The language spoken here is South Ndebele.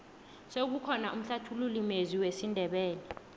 sewukhona umhlathululi mezwi wesindebele